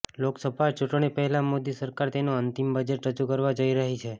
લોકસભા ચૂંટણી પહેલાં મોદી સરકાર તેનું અંતિમ બજેટ રજૂ કરવા જઈ રહી છે